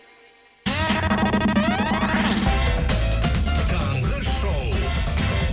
таңғы шоу